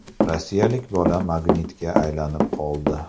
Rossiyalik bola magnitga aylanib qoldi.